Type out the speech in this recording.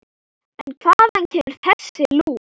En hvaðan kemur þessi lús?